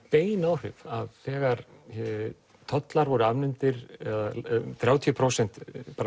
bein áhrif þegar tollar voru afnumdir eða þrjátíu prósenta